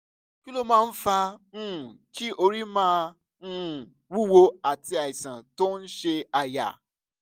kí ló máa ń fa um kí orí máa um wúwo àti àìsàn tó ń ṣe àyà?